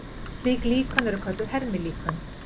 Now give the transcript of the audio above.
Slík líkön eru kölluð hermilíkön.